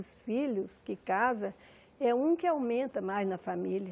Os filhos que casam, é um que aumenta mais na família.